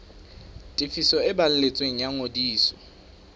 tefiso e balletsweng ya ngodiso